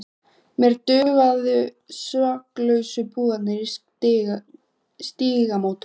Mér dugðu saklausu púðarnir í Stígamótum!